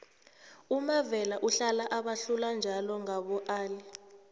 umavela uhlala abahlula njalo ngaboali